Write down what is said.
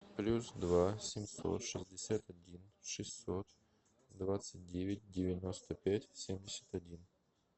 плюс два семьсот шестьдесят один шестьсот двадцать девять девяносто пять семьдесят один